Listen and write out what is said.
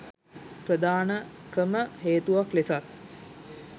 ප්‍රධානකම හේතුවක් ලෙසත්